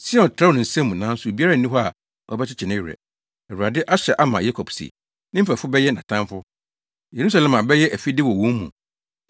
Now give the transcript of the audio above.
Sion trɛw ne nsa mu nanso obiara nni hɔ a ɔbɛkyekye ne werɛ. Awurade ahyɛ ama Yakob se ne mfɛfo bɛyɛ nʼatamfo; Yerusalem abɛyɛ afide wɔ wɔn mu.